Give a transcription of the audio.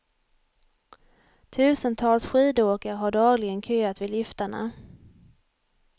Tusentals skidåkare har dagligen köat vid liftarna.